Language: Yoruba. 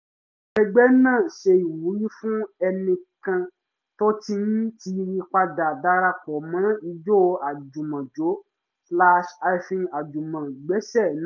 àwọn ẹgbẹ́ náà ṣe ìwúrí fún ẹnìkan tó ti ń tiiri padà darapo mọ́ ijó àjùmọ̀jó-àjùmọ̀gbẹ́sẹ̀ naa